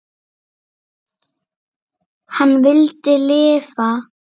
Hann vildi lifa.